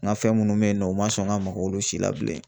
N ka fɛn minnu bɛ yen nɔ u ma sɔn ka maka olu si la bilen